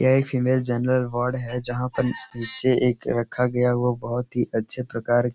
यह एक female general ward है जहा पर नीचे एक रखा गया हुआ बहोत ही अच्छे प्रकार --